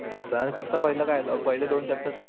maths one पाहिलं काय आलं पहिले दोन चॅप्टर